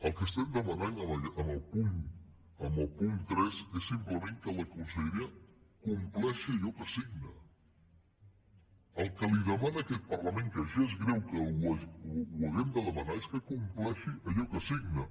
el que demanem en el punt tres és simplement que la conselleria compleixi allò que signa el que li demana aquest parlament que ja és greu que ho hàgim de demanar és que compleixi allò que signa